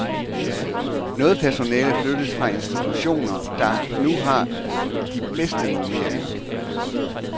Noget personale flyttes fra institutioner, der nu har de bedste normeringer.